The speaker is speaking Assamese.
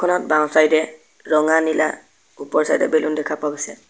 বাওঁ চাইড এ ৰঙা নীলা ওপৰ চাইড এ বেলুন দেখা পোৱা গৈছে।